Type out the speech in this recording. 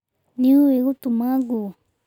Nĩ ũĩ gũtuma nguo?